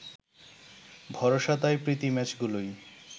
ভরসা তাই প্রীতি ম্যাচগুলোই